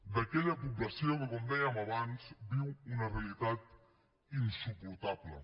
d’aquella població que com dèiem abans viu una realitat insuportable